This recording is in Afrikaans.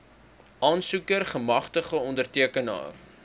aansoeker gemagtigde ondertekenaar